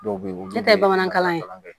Dɔw bɛ ye nɔ n'o tɛ bamanankan ye